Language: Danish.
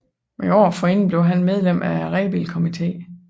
Året forinden blev han medlem af Rebildkomiteen